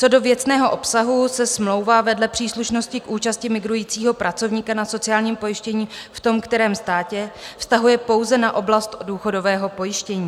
Co do věcného obsahu se smlouva vedle příslušnosti k účasti migrujícího pracovníka na sociálním pojištění v tom kterém státě vztahuje pouze na oblast důchodového pojištění.